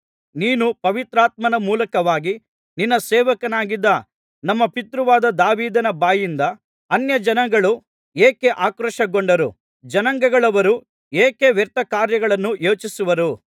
ನೀನು ಪವಿತ್ರಾತ್ಮನ ಮೂಲಕವಾಗಿ ನಿನ್ನ ಸೇವಕನಾಗಿದ್ದ ನಮ್ಮ ಪಿತೃವಾದ ದಾವೀದನ ಬಾಯಿಂದ ಅನ್ಯಜನಗಳು ಏಕೆ ಆಕ್ರೋಶಗೊಂಡರು ಜನಾಂಗಗಳವರು ಏಕೆ ವ್ಯರ್ಥಕಾರ್ಯಗಳನ್ನು ಯೋಚಿಸುವರು